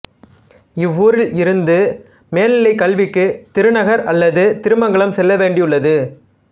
இவ்வூரில் இருந்து மேல்நிலை கல்விக்கு திருநகர்அல்லது திருமங்கலம் செல்ல வேண்டியுள்ளது